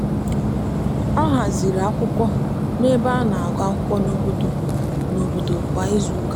ọ haziri akwụkwọ n'ebe a na-agụ akwụkwọ n'obodo n'obodo kwa izuụka.